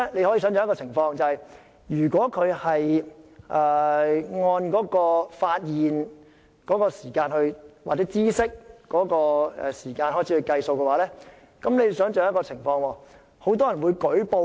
可以想象，如果按發現或知悉的時間開始計算，代理主席，很多人便會舉報。